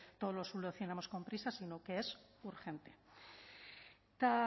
todo lo solucionemos con prisas sino que es urgente eta